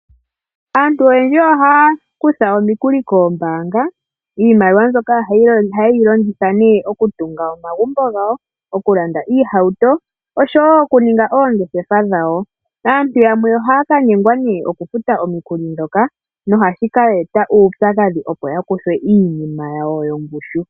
Aantu oyendji ohaya kutha omikuli koombanga. Iimaliwa mbyoka oha yeyi longitha nee oku tunga omagumbo gawo, oku landa iihawuto oshowo oku ninga oongeshefa dhawo. Aantu yamwe ohaka nyengwa nee oku futa omikuli dhoka no hashi ka eta uupyakadhi opo ya kuthwe iinima yawo yongushu.